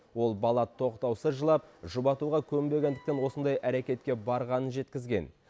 ол бала тоқтаусыз жылап жұбатуға көнбегендіктен осындай әрекетке барғанын жеткізген